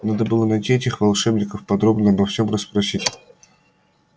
надо было найти этих волшебников подробно обо всём расспросить